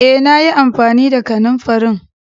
Eh, na yi amfani da kananfarin.